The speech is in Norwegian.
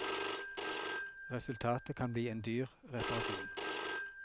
Resultatet kan bli en dyr reparasjon.